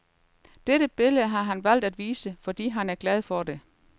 Dette billede har han valgt at vise, fordi han er glad for det.